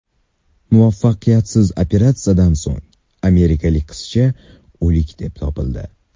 Muvaffaqiyatsiz operatsiyadan so‘ng amerikalik qizcha o‘lik deb topildi.